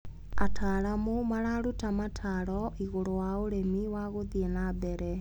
Ataramu mararuta mataro igũrũ wa ũrĩmi wa gũthi na mbere.